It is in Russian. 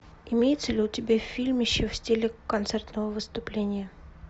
имеется ли у тебя фильмище в стиле концертного выступления